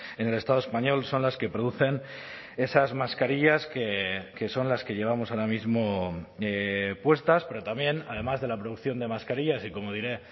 en el estado español son las que producen esas mascarillas que son las que llevamos ahora mismo puestas pero también además de la producción de mascarillas y como diré